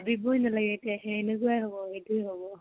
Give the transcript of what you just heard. ভাবিবৈ নেলাগে এতিয়া সেই এনেকুৱাই হব, সেইটোয়ে হব।